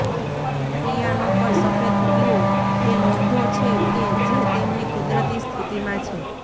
piano પર સફેદ કીઓ એ નોંધો છે કે જે તેમની કુદરતી સ્થિતિમાં છે